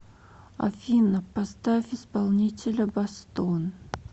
афина поставь исполнителя бастон